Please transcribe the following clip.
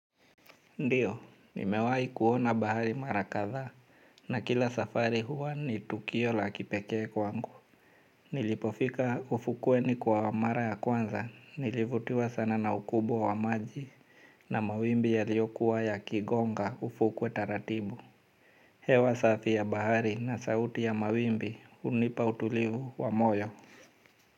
Ndiyo, nimewahi kuona bahari mara kadhaa na kila safari huwa ni tukio la kipekee kwangu. Nilipofika ufukweni kwa mara ya kwanza, nilivutiwa sana na ukubwa wa maji na mawimbi yaliyokuwa yakigonga ufukwe taratibu. Hewa safi ya bahari na sauti ya mawimbi hunipa utulivu wa moyo.